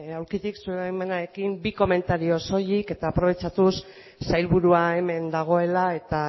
aulkitik zure baimenarekin bi komentario soilik eta aprobetxatuz sailburua hemen dagoela eta